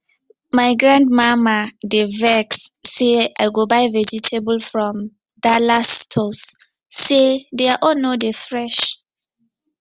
my grandmama dey vex say i go buy vegetable from dallas stores say their own no dey fresh